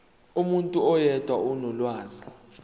umuntu oyedwa onolwazi